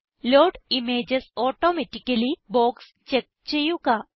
load images automatically box check ചെയ്യുക